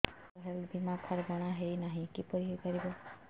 ସାର ମୋର ହେଲ୍ଥ ବୀମା କାର୍ଡ ବଣାଇନାହିଁ କିପରି ହୈ ପାରିବ